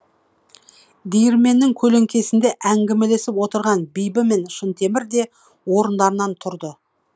диірменнің көлеңкесінде әңгімелесіп отырған бибі мен шынтемір де орындарынан тұрды